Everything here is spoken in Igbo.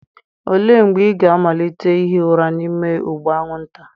Olee mgbe ị ga-amalite ihi ụra n'ime ụgbụ anwụnta?